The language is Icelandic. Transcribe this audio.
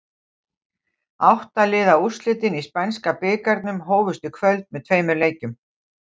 Átta liða úrslitin í spænska bikarnum hófust í kvöld með tveimur leikjum.